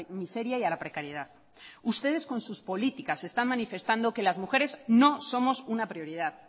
miseria y a la precariedad ustedes con sus políticas están manifestando que las mujeres no somos una prioridad